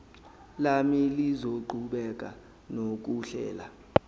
lami lizoqhubeka nokuhlela